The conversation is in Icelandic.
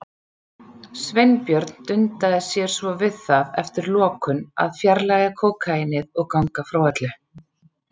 Sveinbjörn dundaði sér svo við það eftir lokun að fjarlægja kókaínið og ganga frá öllu.